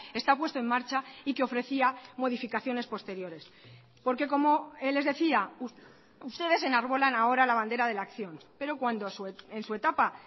está puesto en marcha y que ofrecía modificaciones posteriores porque como les decía ustedes enarbolan ahora la bandera de la acción pero cuando en su etapa